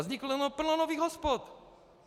Vzniklo plno nových hospod.